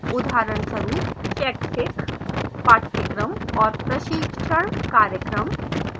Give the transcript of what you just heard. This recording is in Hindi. उदाहरणस्वरूपः शैक्षिक पाठ्यक्रम और प्रशिक्षण कार्यक्रम